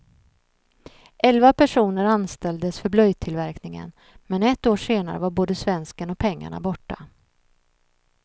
Elva personer anställdes för blöjtillverkningen, men ett år senare var både svensken och pengarna borta.